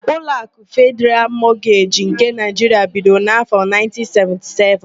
Ụlọakụ Fedịral Mọgeji nke Naịjiria bidoro n'áfọ,1977.